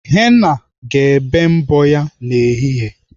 Henna ga-ebe mbọ ya n'ehihie.